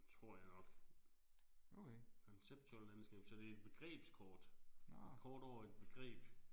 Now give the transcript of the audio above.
Tror jeg nok. Conceptual landscape så det er et begrebskort. Kort over et begreb